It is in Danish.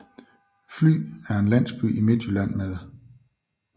Fly er en landsby i Midtjylland med